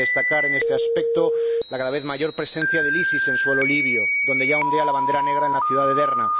Cabe destacar, en este aspecto, la cada vez mayor presencia del EI en suelo libio, donde ya ondea la bandera negra en la ciudad de Derna.